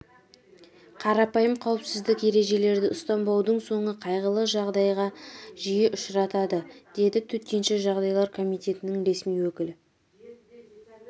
қарпайым қауіпсіздік ережелерді ұстанбаудың соңы қайғылы жағдайларға жиі ұшыратады деді төтенше жағдайлар комитетінің ресми өкілі